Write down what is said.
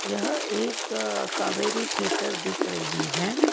यह एक कावेरी थिएटर दिख रही हैं।